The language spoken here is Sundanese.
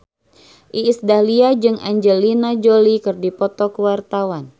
Iis Dahlia jeung Angelina Jolie keur dipoto ku wartawan